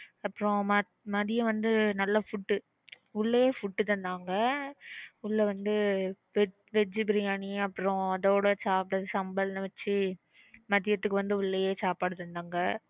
அப்புறம் மதியம் வந்து நல்ல food உஹ் உள்ளேயே food தந்தாங்க உள்ள வந்து veg biryani அப்புறம் அதோட சாப்பிட சம்பல் வெச்சு மதியத்துக்கு ஒட்னது உள்ளேயே சாப்பாடு தந்தாங்க